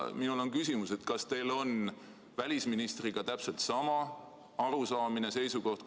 Minul on küsimus: kas teil on välisministriga täpselt sama arusaamine, seisukoht?